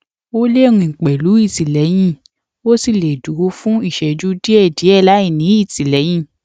ó lè rìn pẹlú ìtìlẹyìn ó sì lè dúró fún ìṣéjú díẹ díẹ láìní ìtìlẹyìn